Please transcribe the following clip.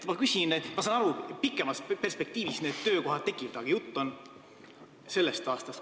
Ma saan aru, et pikemas perspektiivis need töökohad tekivad, aga jutt on sellest aastast.